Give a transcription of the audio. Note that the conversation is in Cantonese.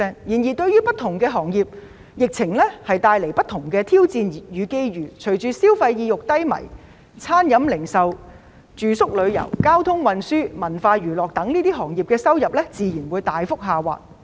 然而，對於不同的行業，疫情帶來了不同的挑戰與機遇，隨着消費意欲低迷，餐飲、零售、住宿、旅遊、交通運輸、文化娛樂等行業的收入自然大幅下滑。